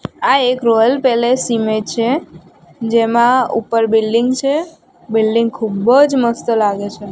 આ એક royal palace image છે જેમા ઉપર બિલ્ડિંગ છે બિલ્ડિંગ ખુબજ મસ્ત લાગે છે.